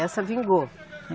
Essa vingou?